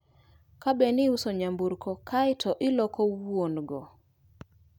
Kabedni iuso nyamburko kae to iloko wuon go